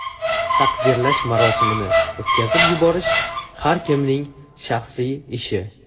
Taqdirlash marosimini o‘tkazib yuborish har kimning shaxsiy ishi.